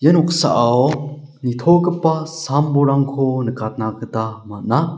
noksao nitogipa sam-bolrangko nikatna gita man·a.